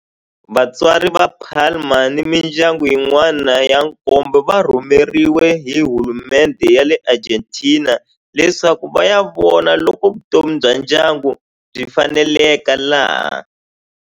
Vatswari va Palma ni mindyangu yin'wana ya nkombo va rhumeriwe hi hulumendhe ya le Argentina leswaku va ya vona loko vutomi bya ndyangu byi faneleka laha.